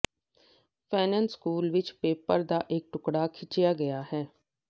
ਫੈਨਨ ਸ਼ਕਲ ਵਿਚ ਪੇਪਰ ਦਾ ਇਕ ਟੁਕੜਾ ਖਿੱਚਿਆ ਗਿਆ